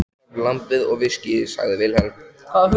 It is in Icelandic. Takk fyrir lambið og viskíið, sagði Vilhelm.